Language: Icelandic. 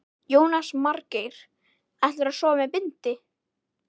Jónas Margeir: Ætlarðu að sofa með bindi?